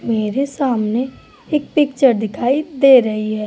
मेरे सामने एक पिक्चर दिखाई दे रही है।